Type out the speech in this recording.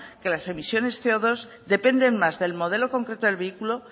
que las emisiones ce o dos dependen más del modelo concreto del vehículo